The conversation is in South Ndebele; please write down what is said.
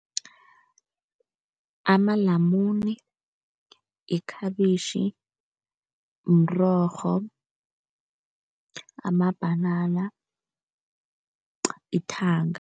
Amalamune, yikhabitjhi, umrorho, amabhanana ithanga.